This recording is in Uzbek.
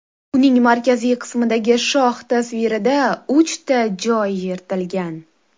Uning markaziy qismidagi shoh tasvirida uchta joy yirtilgan.